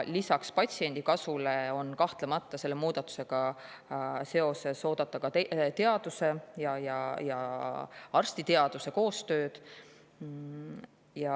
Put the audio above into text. Lisaks patsiendi kasule on selle muudatusega seoses kahtlemata oodata ka muu teaduse ja arstiteaduse koostööd.